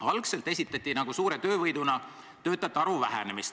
Algselt esitati töötajate arvu vähenemist suure töövõiduna.